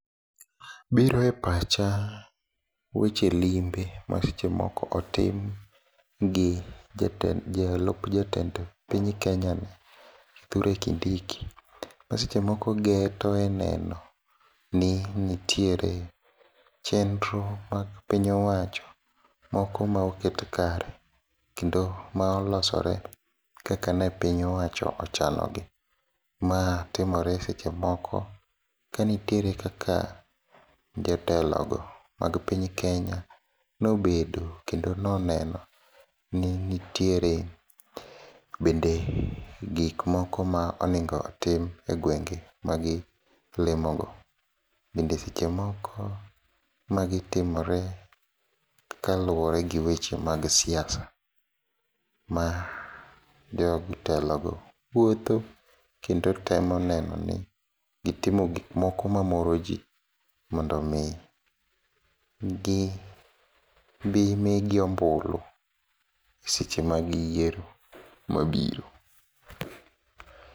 Biro e pacha weche limbe masechemoko otim gi jalup jatend piny Kenyani Kithure Kindiki, masechemoko geto e nenoni nitiere chenro mapiny owacho moko maoket kare, kendo maolosore kakane piny owacho ochanogi. Ma timore sechemoko kanitiere kaka jotelogo mag piny Kenya nobedo kendo noneno ni nitiere bende gikmoko maonego tim e gwenge magilimogo, bende sechemoko magitimore kaluore gi weche mag siasa, majotelogo wuotho kendo temo nenoni gitimo gikmoko mamoro jii mondomi gibi migi ombulu seche mag yiero mabiro.